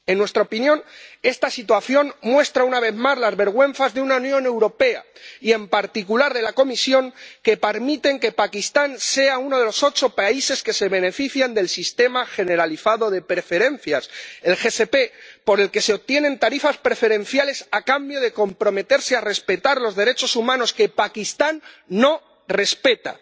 En nuestra opinión, esta situación muestra, una vez más, las vergüenzas de una Unión Europea y, en particular, de la Comisión que permiten que Pakistán sea uno de los ocho países que se benefician del Sistema Generalizado de Preferencias —el SPG—, por el que se obtienen tarifas preferenciales a cambio del compromiso de respetar los derechos humanos, que Pakistán no respeta.